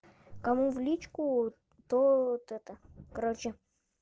кому в личку то вот это короче